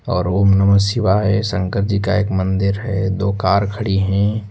और ओम नमः शिवाय शंकर जी का एक मंदिर है दो कार खड़ी हैं।